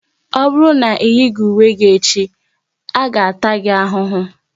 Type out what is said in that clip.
Ọ bụrụ na ị yighi uwe gị echi, a ga-taa gi ahụhụ!